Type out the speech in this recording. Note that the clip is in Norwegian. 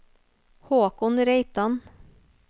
Håkon Reitan